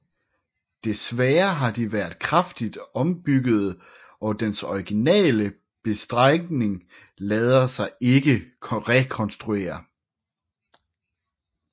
Desværre har de været kraftigt ombyggede og den originale bestrengning lader sig ikke rekonstruere